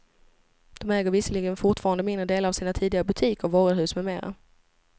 De äger visserligen fortfarande mindre delar av sina tidigare butiker, varuhus med mera.